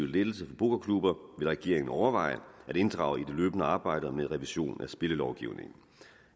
lettelse for pokerklubber regeringen overveje at inddrage i det løbende arbejde med revision af spillelovgivningen